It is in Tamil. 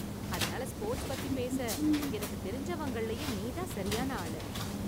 அதனால ஸ்போர்ட்ஸ் பத்தி பேச எனக்கு தெரிஞ்சவங்கலயே நீ தான் சரியான ஆளு